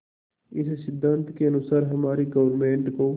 इस सिद्धांत के अनुसार हमारी गवर्नमेंट को